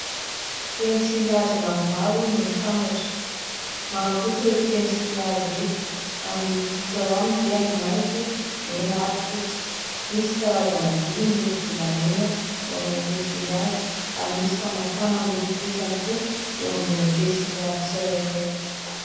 Pensily hazo maromaro no mitambatra. Maro loko ireto pensily hazo ireto, ary ny loko hita ao aminy dia maitso, mena ary fotsy. Misy karazana vy miloko volamena eo amin'ilay pensily hazo ary misy famafana miloko fotsy ihany koa eo ambonin'ny pensily hazo tsirairay.